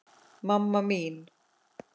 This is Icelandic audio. mamma mín